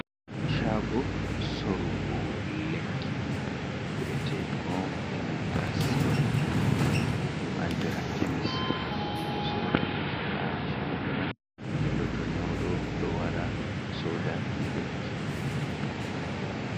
Chago sorgo lekki ku’etegon e nanta sirob, ɗum andira kemis. Ɓedo sora lekki ha chago man, godɗo to nyaudo do wara soda lekki.